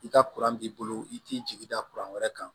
I ka b'i bolo i t'i jigi da wɛrɛ kan